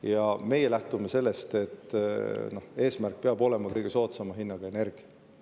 Ja meie lähtume sellest, et eesmärk peab olema kõige soodsama hinnaga energia.